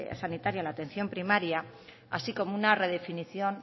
sanitaria la atención primaria así como una redefinición